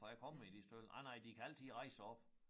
For jeg kommer i de stalde nej nej de kan altid rejse sig op